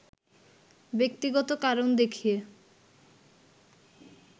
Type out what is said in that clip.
ব্যক্তিগত কারণ দেখিয়ে